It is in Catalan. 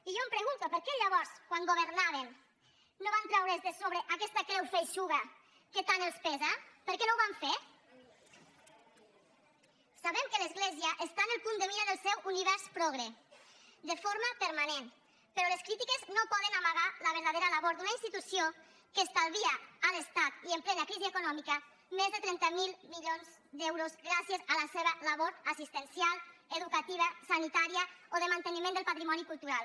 i jo em pregunto per què llavors quan governaven no van treure’s de sobre aquesta creu feixuga que tant els pesa per què no ho van fer sabem que l’església està en el punt de mira del seu univers progre de forma permanent però les crítiques no poden amagar la verdadera labor d’una institució que estalvia a l’estat i en plena crisi econòmica més de trenta miler milions d’euros gràcies a la seva labor assistencial educativa sanitària o de manteniment del patrimoni cultural